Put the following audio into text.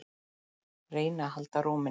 Reyna að halda ró minni.